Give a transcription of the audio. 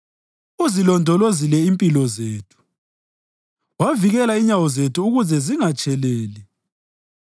uzilondolozile impilo zethu wavikela inyawo zethu ukuze zingatsheleli.